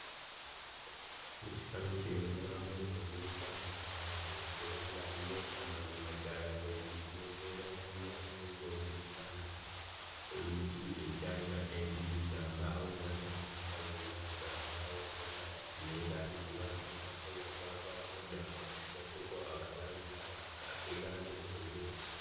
Mu kifaananyi kino ndabamu ennyumba enkadde era nga yo amazima ddala eri mu mbeera si ya kwegombesa oluggi ekyalina enzigi za mbaawo n'amadirisa gonna ga mbaawo ne langi gye baasiigako yavaavaako dda asigaddeko akalangi aka ak'erangi enjeru.